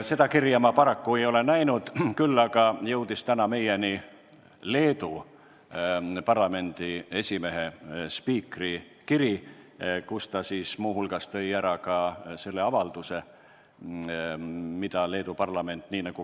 Seda kirja ma paraku näinud ei ole, küll aga jõudis täna meieni Leedu parlamendi esimehe, spiikri kiri, milles ta muu hulgas esitas ka avalduse, mille Leedu parlament tegi.